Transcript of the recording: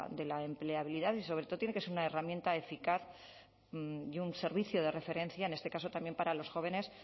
de la empleabilidad y sobre todo tiene que ser una herramienta eficaz y un servicio de referencia en este caso también para los jóvenes